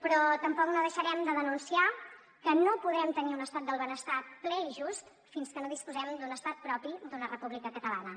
però tampoc no deixarem de denunciar que no podrem tenir un estat del benestar ple i just fins que no disposem d’un estat propi d’una república catalana